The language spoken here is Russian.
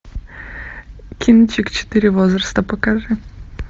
кинчик четыре возраста покажи